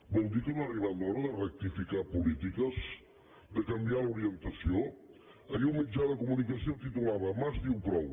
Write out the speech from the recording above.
vol dir que no ha arribat l’hora de rectificar polítiques de canviar l’orientació ahir un mitjà de comunicació titulava mas diu prou